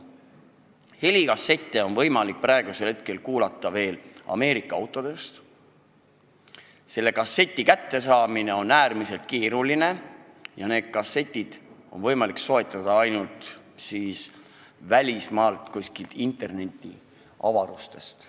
Helikassette on praeguseks võimalik kuulata ainult Ameerika autodest ja nende saamine on äärmiselt keeruline, kassette on võimalik soetada veel ainult välismaalt, kuskilt internetiavarustest.